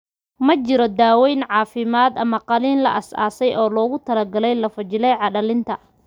Ma jiro daawayn caafimaad ama qaliin la aasaasay oo loogu talagalay lafo-jileeca dhallinta.